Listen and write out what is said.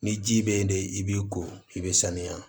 Ni ji bɛ yen de i b'i ko i bɛ sanuya